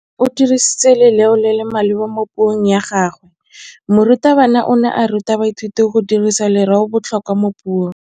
O dirisitse lerêo le le maleba mo puông ya gagwe. Morutabana o ne a ruta baithuti go dirisa lêrêôbotlhôkwa mo puong.